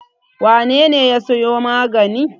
Wane ne ya sayo magani?